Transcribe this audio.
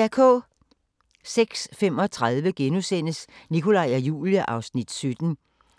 06:35: Nikolaj og Julie (Afs. 17)*